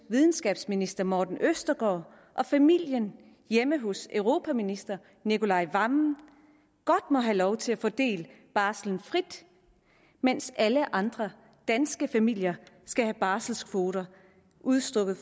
videnskabsminister morten østergaard og familien hjemme hos europaminister nicolai wammen godt må have lov til at fordele barslen frit mens alle andre danske familier skal have barselskvoter udstukket